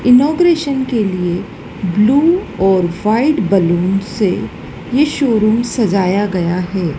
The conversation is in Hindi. इनॉग्रेशन के लिए ब्लू और व्हाइट बैलून से ये शोरूम सजाया गया है।